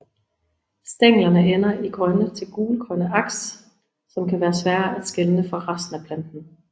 Stænglerne ender i grønne til grøngule aks som kan være svære at skelne fra resten af planten